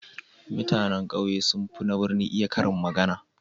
Mutanan kauye sun fi na birni iya karin magana.